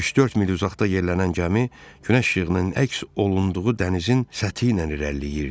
Üç-dörd mil uzaqda yerlənən gəmi günəş işığının əks olunduğu dənizin səthi ilə irəliləyirdi.